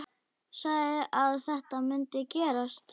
Sagði að þetta mundi gerast.